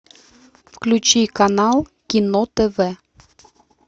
включи канал кино тв